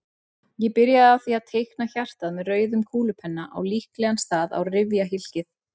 Ég byrjaði á því að teikna hjartað með rauðum kúlupenna á líklegan stað á rifjahylkið.